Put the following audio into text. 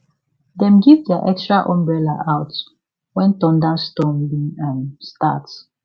dem give their extra umbrella out when thunderstorm bin um start